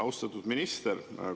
Austatud minister!